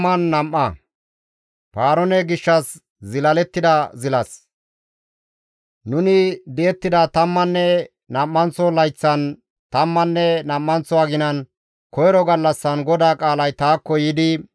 Nuni di7ettida tammanne nam7anththo layththan, tammanne nam7anththo aginan, koyro gallassan GODAA qaalay taakko yiidi,